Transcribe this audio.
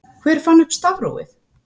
Hver fann upp stafrófið?